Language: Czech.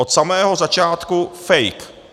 Od samého začátku fake.